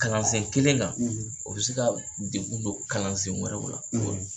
Kalansen kelen kan, o bɛ se ka degun don kalansen wɛrɛw la